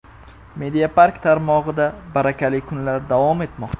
MEDIAPARK tarmog‘ida Barakali kunlar davom etmoqda!.